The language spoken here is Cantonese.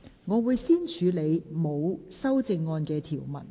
我會先處理沒有修正案的條文。